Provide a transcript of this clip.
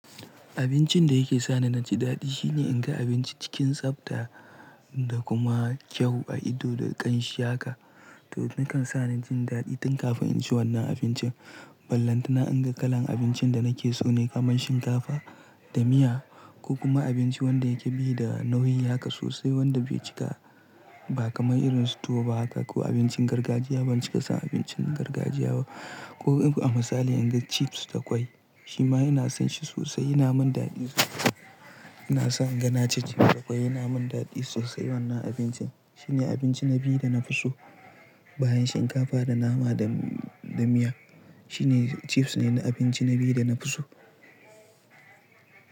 Abincin da yake sa ni na ji daɗi shine in ga abinci cikin tsafta da kuma kyau a ido da ƙanshi haka. Toh yakan sani jin daɗi tun kafin naci wanna abinci ballantana inga kalan abinci da nake so ne kamar shinkafa da miya ko kuma abinci wanda yake baida nauyi haka sosai wanda bai cika ba kamar irin su tuwo ba haka ko abincin gargajiya ban cika son abincin gargajiya ba ko a misali inga chiefs da kwai shima inason sosai yanamin daɗi sosai inason inga naci chiefs da kwai yana min daɗi sosai wannan abincin shine abinci na biyu dana fi so bayan shinkafa da nama da miya shine chiefs ne abinci dana fi so.